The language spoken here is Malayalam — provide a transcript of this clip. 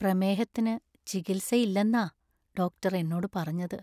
പ്രമേഹത്തിന് ചികിത്സയില്ലെന്നാ ഡോക്ടർ എന്നോട് പറഞ്ഞത്.